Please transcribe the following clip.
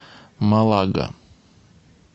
малага